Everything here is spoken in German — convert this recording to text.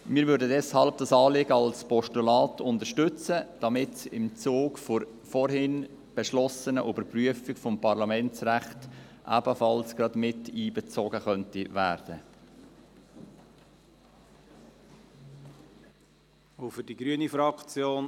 Wir unterstützen dieses Anliegen deshalb als Postulat, so dass es im Zuge der vorhin beschlossenen Überprüfung des Parlamentsrechts ebenfalls miteinbezogen werden kann.